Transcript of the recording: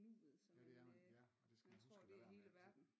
Nuet så man øh man tror det er hele verden